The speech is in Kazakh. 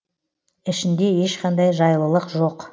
ішінде ешқандай жайлылық жоқ